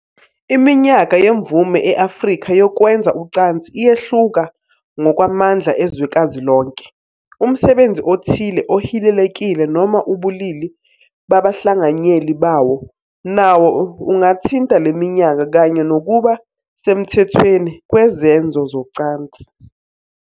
Iminyaka yemvume e- Afrika yokwenza ucansi iyehluka ngokwamandla ezwekazi lonke. Umsebenzi othile ohilelekile noma ubulili babahlanganyeli bawo nawo ungathinta le minyaka kanye nokuba semthethweni kwezenzo zocansi.